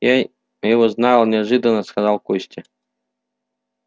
я его знал неожиданно сказал костя